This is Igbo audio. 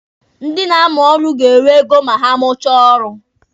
Ndi na-amụ ọrụ ga-enwe ego ma ha mụchaa ọrụ.